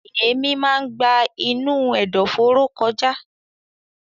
Èémí máa ń gba inú ẹ̀dọ̀fóró kọjá.